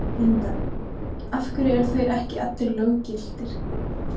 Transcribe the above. Linda: Af hverju eru þeir ekki allir löggiltir?